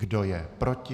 Kdo je proti?